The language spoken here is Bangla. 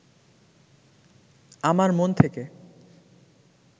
আমার মন থেকে